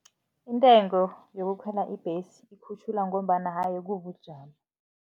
Intengo yokukhwela ibhesi ikhutjhulwa ngombana haye kubujamo.